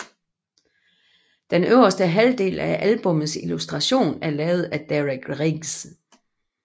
Den øverste halvdel af albummets illustration er lavet af Derek Riggs